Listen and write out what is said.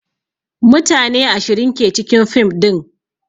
Mutane ashirin ke cikin fim din